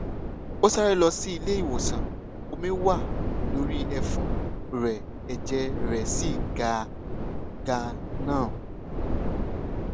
ó sáré lọ sí ilé ìwòsàn omi wà lórí ẹfun rẹ ẹjẹ rẹ sì ga ganan